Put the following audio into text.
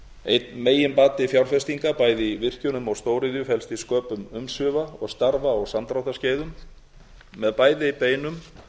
einn megin bati fjárfestinga bæði virkjunum og stóriðju felst í sköpum umsvifa og starfa á samdráttarskeiðum með bæði beinum